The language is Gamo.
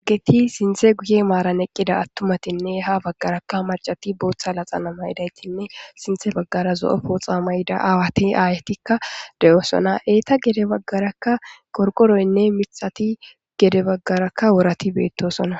Asat sinthe guye maran eqida atumatinne ha bagaraka mac'ati Botha laxana mayidaytinne sinthe bagara zo'o poxa mayida ayet asatika de'osona, eta gede bagara qorqoroynne mithat gede bagaraka worat betosona.